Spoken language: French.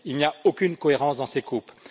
Il n'y a aucune cohérence dans ces coupes.